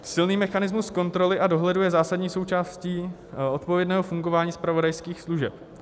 Silný mechanismus kontroly a dohledu je zásadní součástí odpovědného fungování zpravodajských služeb.